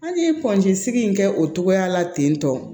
An ye sigi in kɛ o togoya la ten tɔ